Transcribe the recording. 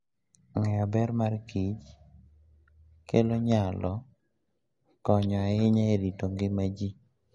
Ng'eyo ber ma mor kich kelo nyalo konyo ahinya e rito ngima ji.